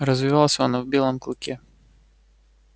развивался он и в белом клыке